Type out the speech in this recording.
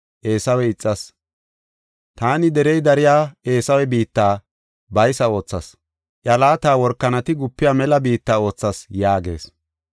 Eesawe ixas. Taani derey dariya Eesawe biitta baysa oothas; iya laata workanati gupiya mela biitta oothas” yaagees.